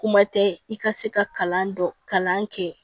Kuma tɛ i ka se ka kalan dɔ kalan kɛ